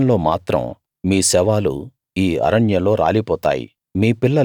మీ విషయంలో మాత్రం మీ శవాలు ఈ అరణ్యంలో రాలిపోతాయి